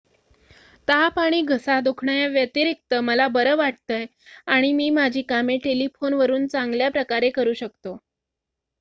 """ताप आणि घसा दुखण्याव्यतिरिक्त मला बरं वाटतंय आणि मी माझी कामे टेलिफोनवरून चांगल्याप्रकारे करू शकतो.